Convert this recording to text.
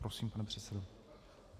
Prosím, pane předsedo.